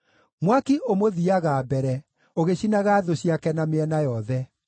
Mwaki ũmũthiiaga mbere ũgĩcinaga thũ ciake na mĩena yothe.